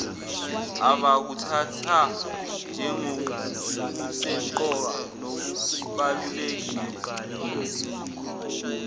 abakuthatha njengokusemqoka nokubalulekile